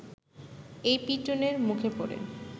এই পিটুনের মুখে পড়ে